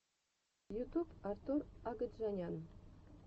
ютуб артур агаджанян